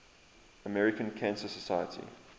american cancer society